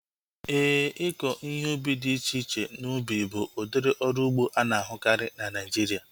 Éè, ịkọ ihe ubi dị iche iche n'ubi bụ udiri ọrụ ugbo ana-ahukari na Naijiria